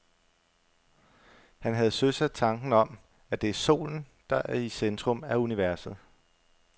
Han havde søsat tanken om, at det er solen, der er i centrum af universet.